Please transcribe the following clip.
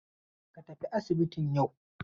Ka tafi asibitin yau!